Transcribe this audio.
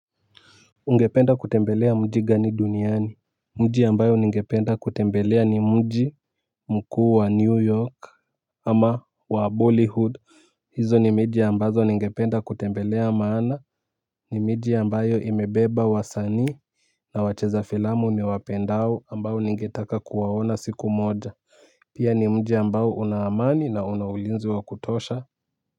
Ungependa kutembelea mji gani duniani. Mji ambayo ningependa kutembelea ni mji mkuu wa new york. Ama wa bollyhood. Hizo ni miji ambazo ningependa kutembelea maana ni miji ambayo imebeba wasanii na wacheza filamu niwapendao ambao ningetaka kuwaona siku moja. Pia ni mji ambao unaamani na unaulinzi wa kutosha.